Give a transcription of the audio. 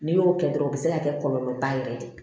N'i y'o kɛ dɔrɔn u be se ka kɛ kɔlɔlɔ ba yɛrɛ ye